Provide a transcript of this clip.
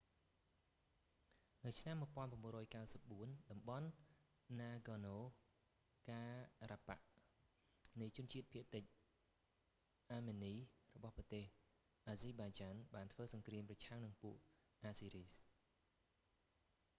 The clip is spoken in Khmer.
នៅឆ្នាំ 1994 តំបន់ណាហ្គរណូ ការ៉ាបាក់ nagorno-karabak នៃជនជាតិភាគតិចអាមិននីរបស់ប្រទេស អាហ្សឺបៃចាន់ azerbaijan បានធ្វើសង្គ្រាមប្រឆាំងនឹងពួក អាហ្សឺរីស azeris